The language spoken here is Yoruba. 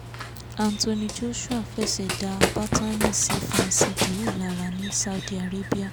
anthony joshua f ẹsẹ̀ dá bátànì sí fan cis dhinou lára ní saudi arabia